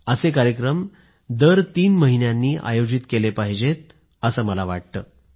असे कार्यक्रम दर तीन महिन्यांनी आयोजित केले गेले पाहिजेत असं मला वाटतं